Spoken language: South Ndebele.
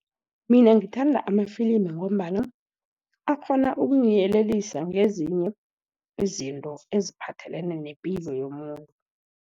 Mina ngithanda amafilimu, ngombana akghona ukungiyelelisa ngezinye izinto eziphathelene nepilo yomuntu.